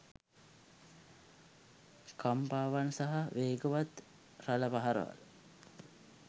කම්පාවන් සහ වේගවත් රළ පහරවල්